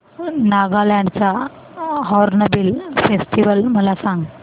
नागालँड चा hornbill festival मला सांग